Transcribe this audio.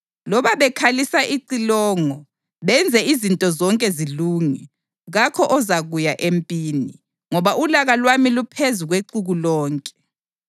Loba bekhalisa icilongo benze izinto zonke zilunge, kakho ozakuya empini, ngoba ulaka lwami luphezu kwexuku lonke.